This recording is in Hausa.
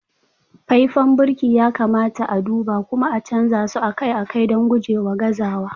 faifan birki ya kamata a duba kuma a canza su akai-akai don gujewa gazawa